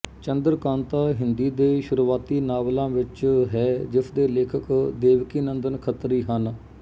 ਚੰਦਰਕਾਂਤਾ ਹਿੰਦੀ ਦੇ ਸ਼ੁਰੂਆਤੀ ਨਾਵਲਾਂ ਵਿੱਚ ਹੈ ਜਿਸਦੇ ਲੇਖਕ ਦੇਵਕੀਨੰਦਨ ਖਤਰੀ ਹਨ